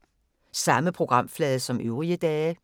Samme programflade som øvrige dage